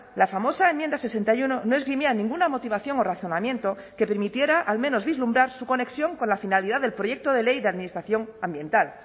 la famosa enmienda sesenta y uno no esgrimía ninguna motivación o razonamiento que permitiera al menos vislumbrar su conexión con la finalidad del proyecto de ley de administración ambiental